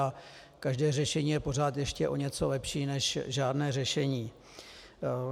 A každé řešení je pořád ještě o něco lepší než žádné řešení.